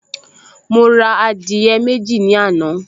Mo ra adìyẹ méjì ní àná